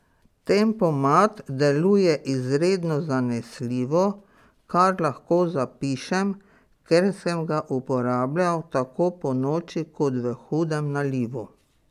Tempomat deluje izredno zanesljivo, kar lahko zapišem, ker sem ga uporabljal tako ponoči kot v hudem nalivu.